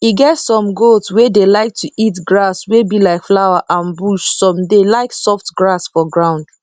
e get some goat wey dey like to eat grass wey be like flower and bush some dey like soft grass for ground